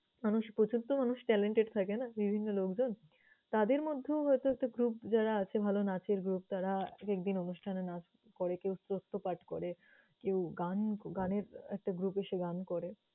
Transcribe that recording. মানুষ প্রচুর তো মানুষ talented থাকে না বিভন্ন লোকজন? তাদের মধ্যেও হয়তো একটা group যারা আছে ভালো নাচের group তারা এক একদিন অনুষ্ঠানে নাচ করে, কেউ শ্রত্থ পাঠ করে, কেউ গান গানের একটা group এসে গান করে।